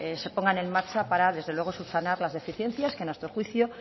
se pongan en marcha para desde luego subsanar las deficiencias que a nuestro juicio